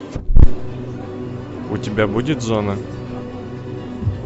у тебя будет зона